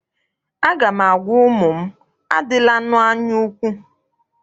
Aga m agwa ụmụ m, adịlanụ anyaukwu!